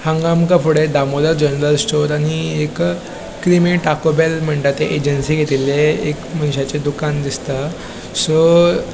हांगा आमका फुड़े दामोदर ज्वेलर स्टोर आनी एक क्रीमी टाकोबेल मणता ते एजेंसी घेतिल्ले एक मनशाचे दुकान दिसता सो --